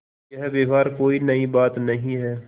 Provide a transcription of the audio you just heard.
यह व्यवहार कोई नई बात नहीं है